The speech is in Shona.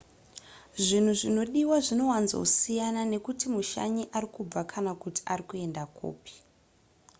zvinhu zvinodiwa zvinowanzosiyana nekuti mushanyi ari kubva kana kuti ari kuenda kupi